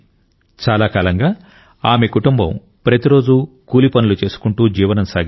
చాలా కాలంగా ఆమె కుటుంబం ప్రతిరోజు కూలి పనులు చేసుకుంటూ జీవనం సాగించేది